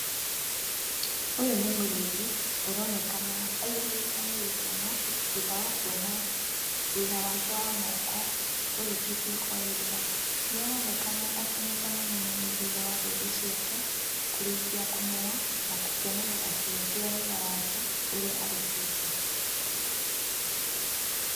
Ũyũ nĩ mũrĩmi ũronekana aihũrĩtwo nĩ gĩkeno thutha wa kuona wĩra wake wa moko ũrĩkĩtie kwagĩrĩra. Nĩ aronekana akenete mũno mũno thutha wa mbembe ciake kũrĩkia kũmera na gũkenerera kĩo kĩa wĩra wake ũrĩa arũtĩte.